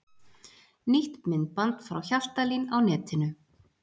Nýtt myndband frá Hjaltalín á netinu